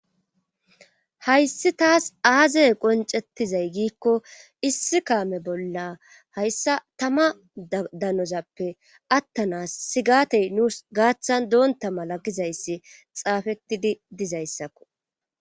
hayssi taas aazey qoncettizay giikko issi kaame bolla hayssa tama danozappe attanas sigatey nuus gaaththan doonta mala gizayssi xaafettidi dizayssakko